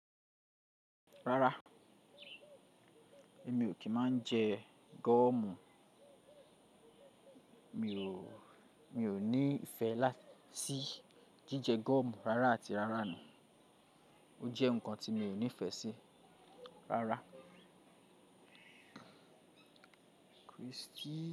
Rárá, èmi ò kí máa ń jẹ gọ́ọ̀mù. Mi ò, mi ò ní ìfẹ́ láti sí jíjẹ gọ́ọ̀mù rárá àti rárá nu. Ó jẹ́ nǹkan tí mi ò nífẹ̀ẹ́ sí rárá.